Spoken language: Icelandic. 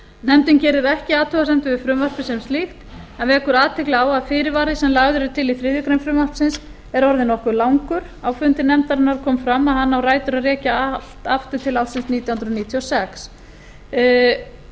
nefndin gerir ekki athugasemdir við frumvarpið sem slíkt en vekur athygli á að fyrirvari sem lagður er til í þriðju greinar frumvarpsins er orðinn nokkuð langur á fundi nefndarinnar kom fram að hann á rætur að rekja aftur til ársins nítján hundruð níutíu og sex